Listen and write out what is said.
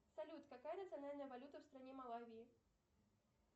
салют какая национальная валюта в стране малавии